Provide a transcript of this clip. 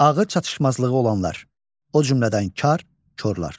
Ağır çatışmazlığı olanlar, o cümlədən kar korlar.